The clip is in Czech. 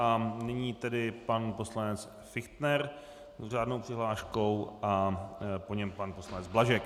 A nyní tedy pan poslanec Fichtner s řádnou přihláškou a po něm pan poslanec Blažek.